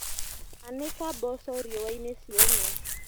Anĩka mboco riũainĩ ciũme.